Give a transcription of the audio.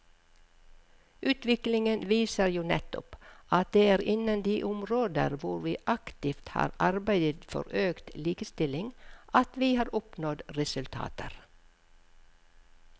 Utviklingen viser jo nettopp at det er innen de områder hvor vi aktivt har arbeidet for økt likestilling at vi har oppnådd resultater.